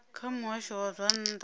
kha muhasho wa zwa nnḓa